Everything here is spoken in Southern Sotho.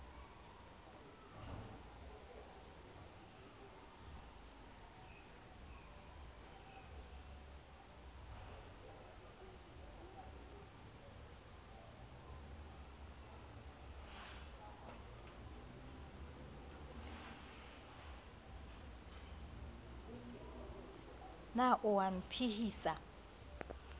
na o a e phehisa